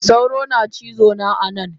Sauro na cizona anan.